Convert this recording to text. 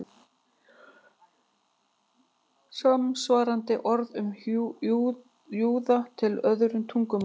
Er samsvarandi orð um júða til í öðrum tungumálum?